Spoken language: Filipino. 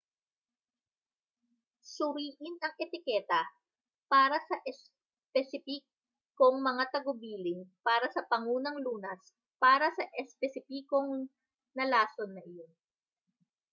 suriin ang etiketa para sa espesipikong mga tagubilin para sa pangunang lunas para sa espesipikong na lason na iyon